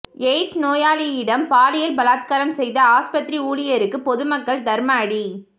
AIDS நோயாளியிடம் பாலியில் பலாத்காரம் செய்த ஆஸ்பத்திரி ஊழியருக்கு பொதுமக்கள் தர்மஅடி